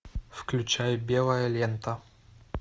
включай белая лента